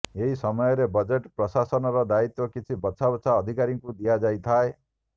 ଏହି ସମୟରେ ବଜେଟ ପ୍ରକାଶନର ଦାୟିତ୍ୱ କିଛି ବଛା ବଛା ଅଧିକାରୀଙ୍କୁ ଦିଆଯାଇଥାଏ